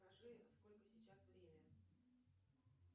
скажи сколько сейчас время